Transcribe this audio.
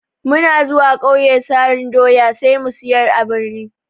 Muna zuwa ƙauye sarin doya sai mu siyar a birni.